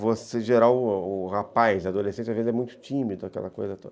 Você, geral, o o rapaz, adolescente, às vezes é muito tímido, aquela coisa toda.